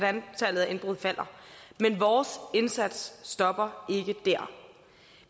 antallet af indbrud falder men vores indsats stopper